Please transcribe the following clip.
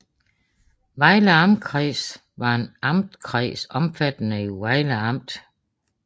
Vejle Amtskreds var en amtskreds omfattende Vejle Amt